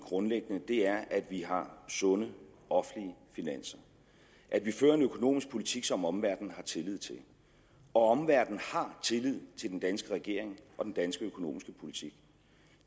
grundlæggende er at vi har sunde offentlige finanser at vi fører en økonomisk politik som omverdenen har tillid til og omverdenen har tillid til den danske regering og den danske økonomiske politik